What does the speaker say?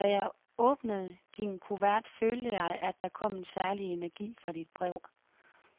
Da jeg åbnede din kuvert, følte jeg, at der kom en særlig energi fra dit brev.